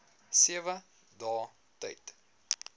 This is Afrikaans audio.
sewe dae tyd